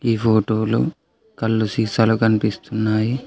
ఈ ఫోటోలో కళ్ళు సీసాలు కనిపిస్తున్నాయి.